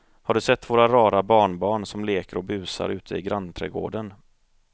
Har du sett våra rara barnbarn som leker och busar ute i grannträdgården!